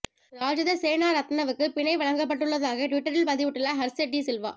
ராஜித சேனாரத்னவுக்கு பிணை வழங்கப்பட்டுள்ளதாக டுவிட்டரில் பதிவிட்டுள்ள ஹர்ச டி சில்வா